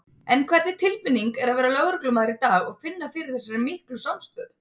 En hvernig tilfinning er að vera lögreglumaður í dag og finna fyrir þessari miklu samstöðu?